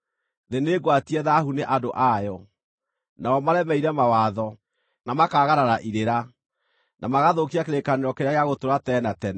Thĩ nĩngwatie thaahu nĩ andũ ayo; nao maremeire mawatho, na makaagarara irĩra, na magathũkia kĩrĩkanĩro kĩrĩa gĩa gũtũũra tene na tene.